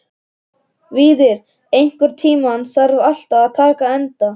Víðar, einhvern tímann þarf allt að taka enda.